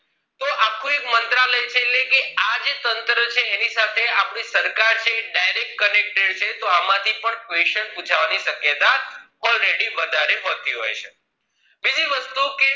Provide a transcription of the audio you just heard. આખો એક મંત્રાલય છે ક આ એક તંત્ર છે આપણી સરકાર એ direct connected છે તોહ આમાંથી પણ question પૂછવાની શક્યતા already વધારે પડતી હોય છે